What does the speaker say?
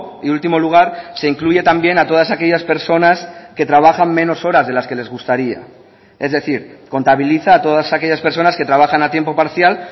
y último lugar se incluye también a todas aquellas personas que trabajan menos horas de las que les gustaría es decir contabiliza a todas aquellas personas que trabajan a tiempo parcial